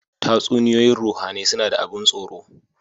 Tatsuniyoyin ruhAnai suna da abun tsoro